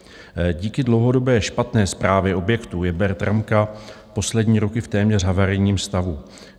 Díky dlouhodobé špatné správě objektu je Bertramka poslední roky v téměř havarijním stavu.